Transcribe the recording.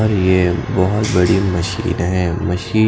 और ये बहोत बडी मशीन हैं मशीन --